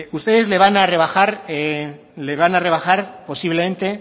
ustedes le van a rebajar posiblemente